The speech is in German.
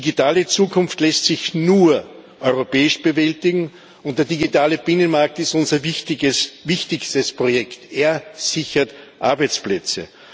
Die digitale Zukunft lässt sich nur europäisch bewältigen, und der digitale Binnenmarkt ist unser wichtigstes Projekt er sichert Arbeitsplätze.